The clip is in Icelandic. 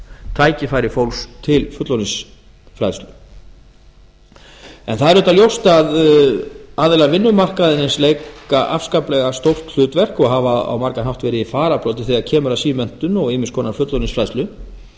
tækifæri fólks til fullorðinsfræðslu en það er auðvitað ljóst að aðilar vinnumarkaðarins leika afskaplega stórt hlutverk og hafa á margan hátt verið í fararbroddi þegar kemur að símenntun og ýmiss konar fullorðinsfræðslu